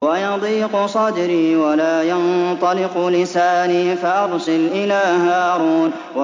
وَيَضِيقُ صَدْرِي وَلَا يَنطَلِقُ لِسَانِي فَأَرْسِلْ إِلَىٰ هَارُونَ